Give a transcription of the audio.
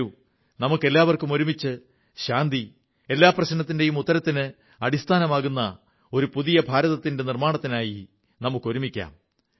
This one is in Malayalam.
വരൂ നമുക്കെല്ലാവർക്കും ഒരുമിച്ച് ശാന്തി എല്ലാ പ്രശ്നത്തിന്റെയും ഉത്തരത്തിന് അടിസ്ഥാനമാകുന്ന ഒരു പുതിയ ഭാരതത്തിന്റെ നിർമ്മാണത്തിനായി ഒരുമിക്കാം